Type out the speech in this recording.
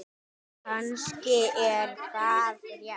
Kannski er það rétt.